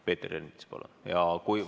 Peeter Ernits, palun!